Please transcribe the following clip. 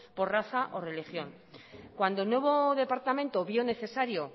por raza o religión cuando el nuevo departamento vio necesario